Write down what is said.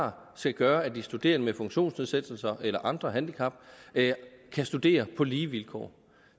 har skal gøre at studerende med funktionsnedsættelse eller andre handicap kan studere på lige vilkår